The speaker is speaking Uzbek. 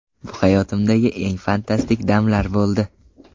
Bu hayotimdagi eng fantastik damlar bo‘ldi.